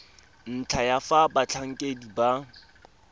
ntlha ya fa batlhankedi ba